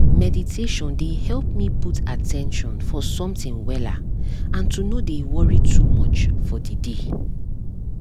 mediation dey help me put at ten tion for something wella and to no dey worry too much for the day